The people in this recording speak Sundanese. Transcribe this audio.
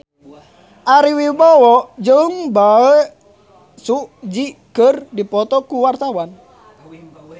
Ari Wibowo jeung Bae Su Ji keur dipoto ku wartawan